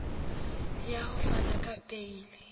ya ho fana ka beile